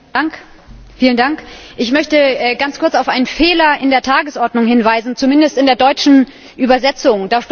Herr Präsident! Ich möchte ganz kurz auf einen Fehler in der Tagesordnung hinweisen, zumindest in der deutschen Übersetzung.